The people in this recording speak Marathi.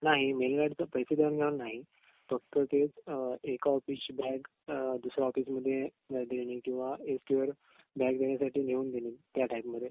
नाही मेल गार्डच पैसे देवाण घेवाण नाही फक्त ते अ एका ऑफिसची बॅग अ दुसऱ्या ऑफिसमध्ये देणे किंवा बॅग घेऊन देणे त्या टाइप मधे